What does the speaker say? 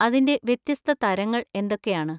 അതിന്‍റെ വ്യത്യസ്ത തരങ്ങൾ എന്തൊക്കെയാണ്?